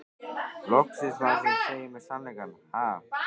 Loksins maður sem segir mér sannleikann, ha?